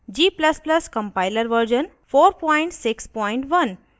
* g ++ compiler version 461